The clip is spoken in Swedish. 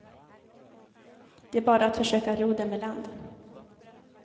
Det är bara att försöka ro dem i land.